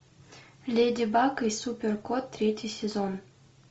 леди баг и супер кот третий сезон